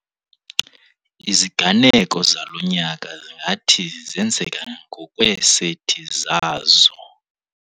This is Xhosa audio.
Iziganeko zalo nyaka zingathi zenzeka ngokweeseti zazo.